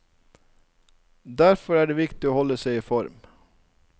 Derfor er det viktig å holde seg i form.